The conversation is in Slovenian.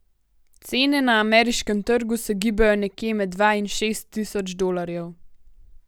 Cene na ameriškem trgu se gibajo nekje med dva in šest tisoč dolarjev.